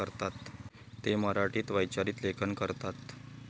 ते मराठीत वैचारिक लेखन करतात.